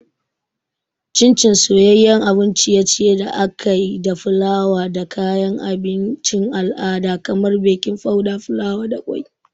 Chin Chin soyayyen abun ciye-ciye da aka yi da fulawa da kayan abincin al'ada kamar baking powder, fulawa, da kwai.